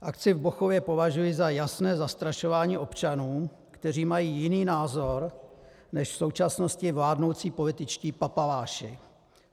Akci v Bochově považuji za jasné zastrašování občanů, kteří mají jiný názor než v současnosti vládnoucí političtí papaláši.